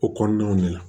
O kɔnɔnaw de la